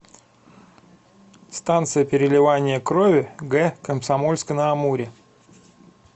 станция переливания крови г комсомольска на амуре